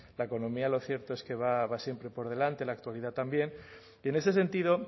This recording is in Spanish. la economía lo cierto es que va siempre por delante la actualidad también y en ese sentido